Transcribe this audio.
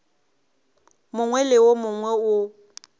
mongwe le wo mongwe wo